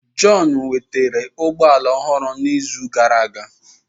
John nwetara ụgbọ ala ọhụrụ n'izu gara aga